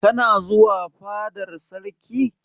Kana zuwa fadar sarki?